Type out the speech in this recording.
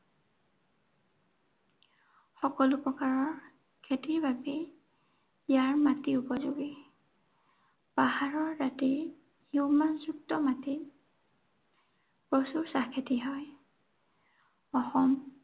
সকলো প্ৰকাৰৰ খেতিৰ বাবে ইয়াৰ মাটি উপযোগী। পাহাৰৰ দাঁতিৰ হিউমাছযুক্ত মাটি প্ৰচুৰ চাহ খেতি হয়। অসম